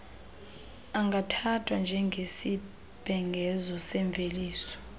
angathathwa njengesibhengezo semveliso